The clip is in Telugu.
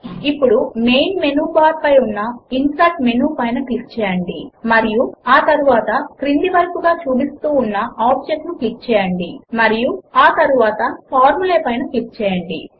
ఇప్పుడు మెయిన్ మెనూ బార్ పైన ఉన్న ఇన్సెర్ట్ మెనూ పైన క్లిక్ చేయండి మరియు ఆ తరువాత క్రింద వైపుకు చూపిస్తూ ఉన్న ఆబ్జెక్ట్ ను క్లిక్ చేయండి మరియు ఆ తరువాత ఫార్ములా పైన క్లిక్ చేయండి